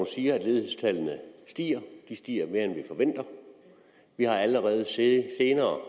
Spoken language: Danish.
siger at ledighedstallene stiger de stiger mere end vi forventer og vi har allerede set